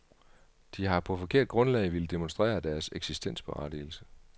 De har på forkert grundlag villet demonstrere deres eksistensberettigelse.